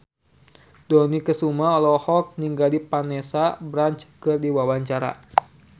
Dony Kesuma olohok ningali Vanessa Branch keur diwawancara